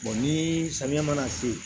ni samiya mana se